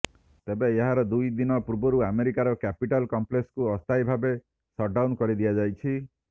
ତେବେ ଏହାର ଦୁଇ ଦିନ ପୂର୍ବରୁ ଆମେରିକାର କ୍ୟାପିଟଲ କମ୍ପ୍ଲେକ୍ସକୁ ଅସ୍ଥାୟୀ ଭାବେ ଶଟଡାଉନ କରି ଦିଆଯାଇଛି